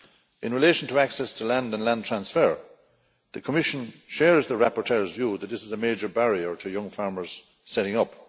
In relation to access to land and land transfer, the Commission shares the rapporteur's view that this is a major barrier to young farmers setting up.